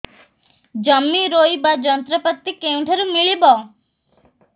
ଜମି ରୋଇବା ଯନ୍ତ୍ରପାତି କେଉଁଠାରୁ ମିଳିବ